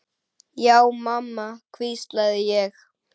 Já mamma, hvísla ég.